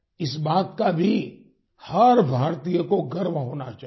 इस बात का भी हर भारतीय को गर्व होना चाहिए